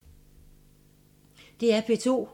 DR P2